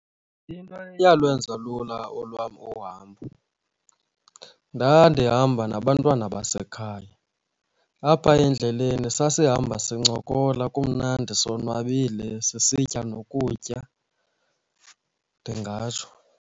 Into eyalwenza lula olwam ohambo, ndandihamba nabantwana basekhaya apha endleleni sasihamba sincokola, kumnandi sonwabile, sisitya nokutya, ndingatsho.